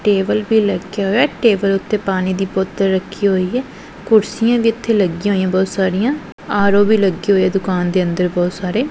Table ਵੀ ਲੱਗਿਆ ਹੋਇਆ ਟੇਬਲ ਉੱਤੇ ਪਾਣੀ ਦੀ ਬੋਤਲ ਰੱਖੀ ਹੋਈ ਹੈ ਕੁਰਸੀਆਂ ਵੀ ਇੱਥੇ ਲੱਗੀਆਂ ਹੋਈਆਂ ਬਹੁਤ ਸਾਰੀਆਂ ਆਰ_ਓ ਵੀ ਲੱਗੇ ਹੋਏ ਦੁਕਾਨ ਦੇ ਅੰਦਰ ਬਹੁਤ ਸਾਰੇ।